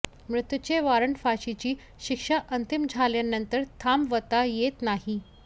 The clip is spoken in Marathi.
मृत्यूचे वॉरंट फाशीची शिक्षा अंतिम झाल्यानंतर थांबवता येत नाही